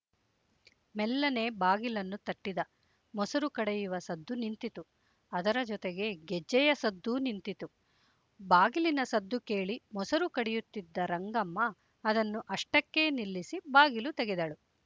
ಮೆಲ್ಲನೆ ಬಾಗಿಲನ್ನು ತಟ್ಟಿದ ಮೊಸರು ಕಡೆಯುವ ಸದ್ದು ನಿಂತಿತು ಅದರ ಜೊತೆಗೆ ಗೆಜ್ಜೆಯ ಸದ್ದು ನಿಂತಿತು ಬಾಗಿಲಿನ ಸದ್ದು ಕೇಳಿ ಮೊಸರು ಕಡೆಯುತ್ತಿದ್ದ ರಂಗಮ್ಮ ಅದನ್ನು ಅಷ್ಟಕ್ಕೇ ನಿಲ್ಲಿಸಿ ಬಾಗಿಲು ತೆಗೆದಳು